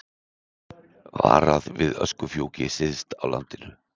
Varað við öskufjúki syðst á landinu